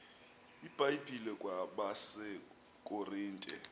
ibhayibhile kwabase korinte